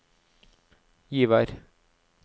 Givær